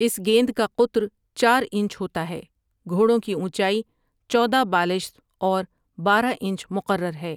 اس گیند کا قطر چار انچ ہوتا ہے گھوڑوں کی اونچائی چودہ بالشت اور بارہ انچ مقرر ہے ۔